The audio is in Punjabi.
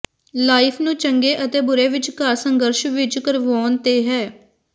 ਲਾਈਫ ਨੂੰ ਚੰਗੇ ਅਤੇ ਬੁਰੇ ਵਿਚਕਾਰ ਸੰਘਰਸ਼ ਵਿਚ ਕਰਵਾਉਣ ਤੇ ਹੈ